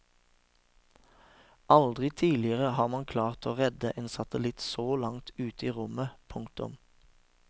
Aldri tidligere har man klart å redde en satellitt så langt ute i rommet. punktum